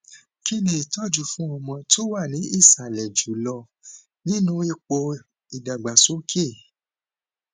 kini itoju fún ọmọ tó wà ní ìsàlẹ jùlọ nínú ipo ìdàgbàsókè